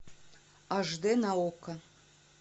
аш д на окко